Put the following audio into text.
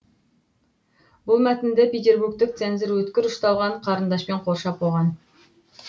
бұл мәтінді петербургтік цензор өткір ұшталған қарындашпен қоршап қойған